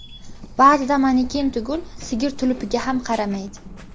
Ba’zida maneken tugul, sigir tulupiga ham qaramaydi.